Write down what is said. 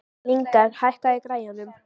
Lyngar, hækkaðu í græjunum.